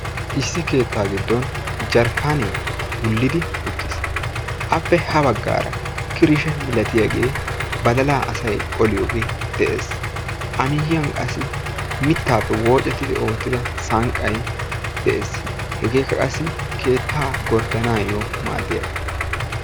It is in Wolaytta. Issi keettaa giddon jerikaane wullidi uttis. Appe ha baggaara kirishe milatiyage badalaa asay qoliyoge de"es. A miyyiyan qassi mittaappe woocettidi ootida sanqay de"es. Hegeekka qassi keettaa gordanaayo maaddiyaaga.